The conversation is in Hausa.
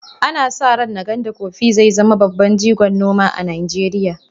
Ana sa ran Nganda Coffee zai zama babban jigon noma a Najeriya.